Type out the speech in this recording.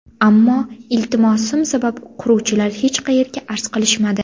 Ammo iltimosim sabab quruvchilar hech qayerga arz qilishmadi.